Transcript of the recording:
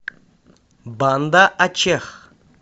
банда ачех